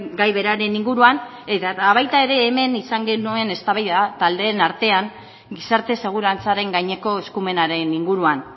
gai beraren inguruan eta baita ere hemen izan genuen eztabaida taldeen artean gizarte segurantzaren gaineko eskumenaren inguruan